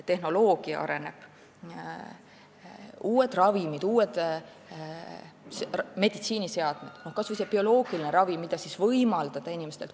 Tehnoloogia areneb, tekivad uued ravimid ja meditsiiniseadmed, kas või bioloogiline ravi, mida saaks inimestele võimaldada.